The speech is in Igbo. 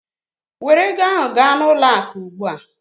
Were ego ahụ gaa n'ụlọ akụ ugbu a!